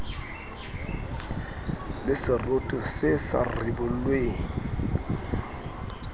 le seroto se sa ribollweng